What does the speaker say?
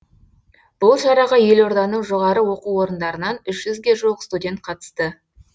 бұл шараға елорданың жоғары оқу орындарынан үш жүзге жуық студент қатысты